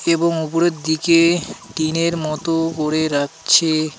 এবং উপরের দিকে টিনের মতো করে রাখছে.